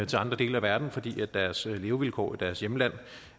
til andre dele af verden fordi deres levevilkår i deres hjemlande